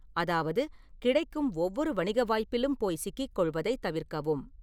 அதாவது, கிடைக்கும் ஒவ்வொரு வணிக வாய்ப்பிலும் போய் சிக்கிக் கொள்வதைத் தவிர்க்கவும்.